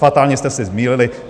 Fatálně jste se zmýlili.